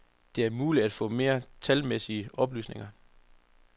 Det er muligt at få mere talmæssige oplysninger.